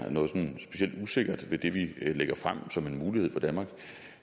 være noget sådan specielt usikkert ved det vi lægger frem som en mulighed for danmark